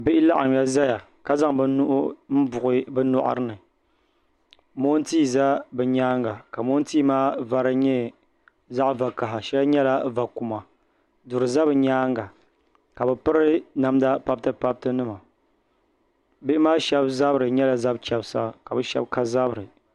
bihi laɣimya zaya ka zaŋ bɛ nuhi m buɣi bɛ nyɔri ni moontia za bɛ nyaanga ka moontia maa vari nyɛ zaɣ' vakahai shɛli nyɛla vakuma duri za bɛ nyaanga ka bɛ piri namda pabitipabitinima bihi maa shaba zabiri nyɛla zab' chabisa ka bɛ shaba ka zabiri